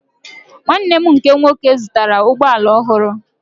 Nwanne nne m nke nwoke zụtara ụgbọala ọhụrụ